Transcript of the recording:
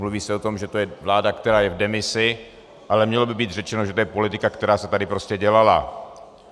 Mluví se o tom, že to je vláda, která je v demisi, ale mělo by být řečeno, že to je politika, která se tady prostě dělala.